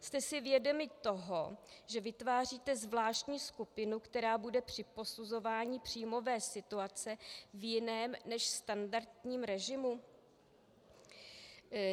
Jste si vědomi toho, že vytváříte zvláštní skupinu, která bude při posuzování příjmové situace v jiném než standardním režimu?